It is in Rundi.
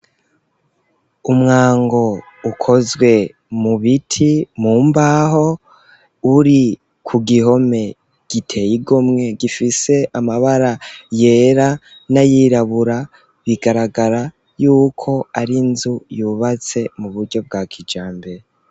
Umwango ukozwe mu biti mu mbaho uri ku gihome giteye igomwe gifise amabara yera n'ayirabura bigaragara yuko ari nzu yubatse mu buryo bwa kijambere.